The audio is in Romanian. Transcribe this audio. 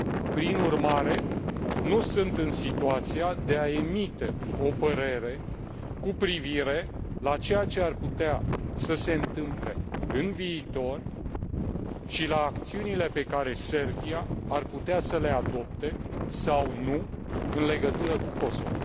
Prin urmare, nu sunt în situația de a emite o părere cu privire la ceea ce ar putea să se întâmple în viitor și la acțiunile pe care Serbia ar putea să le adopte sau nu în legătură cu Kosovo.